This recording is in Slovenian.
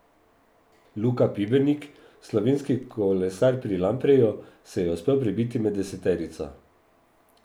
Luka Pibernik, slovenski kolesar pri Lampreju, se je uspel prebiti med deseterico.